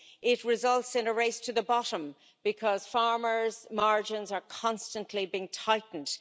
It results in a race to the bottom because farmers' margins are constantly being tightened.